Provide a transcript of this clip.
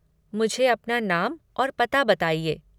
मुझे अपना नाम और पता बताइए।